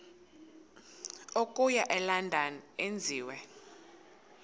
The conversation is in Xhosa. okuya elondon enziwe